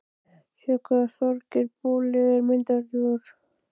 Sjáðu hvað Þorgeir boli er myndarlegur